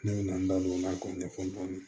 Ne bɛ na n da don o la k'o ɲɛfɔ dɔɔnin